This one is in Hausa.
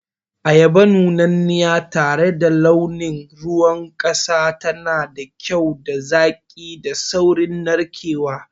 Ayaba nunanniya tare da launin ruwan kasa tana da kyau da zaƙi da saurin narkewa.